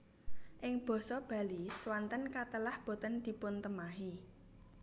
Ing basa Bali swanten katelah boten dipuntemahi